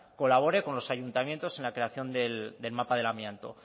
colabore con los ayuntamientos en la creación del mapa del amianto